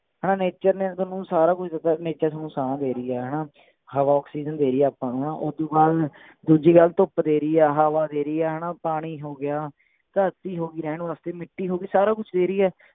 ਹਣਾ nature ਨੇ ਥੋਨੂੰ ਸਾਰਾ ਕੁਸ਼ ਦਿੱਤਾ nature ਥੋਨੂੰ ਸਾਹ ਦੇ ਰਹੀ ਆ ਹਣਾਂ ਹਵਾ ਅਕਸੀਜਨ ਦੇ ਰਹੀ ਹੈ ਆਪਾਂ ਨੂੰ ਹਣਾ ਓਦੂੰ ਬਾਅਦ ਦੂਜੀ ਗੱਲ ਧੁੱਪ ਦੇ ਰਹੀ ਹੈ ਹਵਾ ਦੇ ਰਹੀ ਏ ਹਣਾ ਪਾਣੀ ਹੋ ਗਿਆ ਧਰਤੀ ਹੋ ਗਈ ਰਹਿਣ ਵਾਸਤੇ ਮਿੱਟੀ ਹੋ ਗਈ ਸਾਰਾ ਕੁਸ਼ ਦੇ ਰਹੀ ਹੈ